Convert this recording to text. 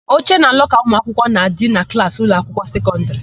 Oche na lọka ụmụakwụkwọ na-adị na klaasị ụlọakwụkwọ sekọndịrị.